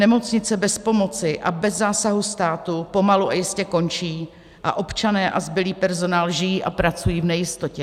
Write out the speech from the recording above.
Nemocnice bez pomoci a bez zásahu státu pomalu a jistě končí a občané a zbylý personál žijí a pracují v nejistotě.